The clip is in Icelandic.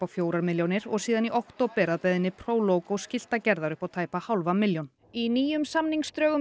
fjórar milljónir og síðan í október að beiðni skiltagerðar upp á tæpa hálfa milljón í nýjum samningsdrögum